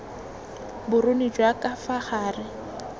boruni jwa ka fa gare